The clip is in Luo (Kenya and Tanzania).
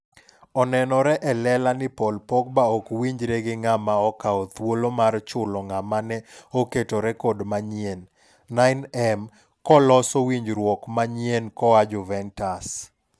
Onenore e lela ni Paul Pogba ok winjre gi ng'ama okawo thuolo mar chulo ng'ama ne oketo rekod manyien ?9m koloso winjruok manyien koa Juventus.